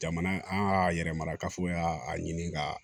Jamana an y'a yɛrɛ marakafoy'a a ɲini ka